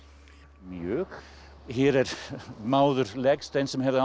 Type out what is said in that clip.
mjög hér er máður legsteinn sem hefði átt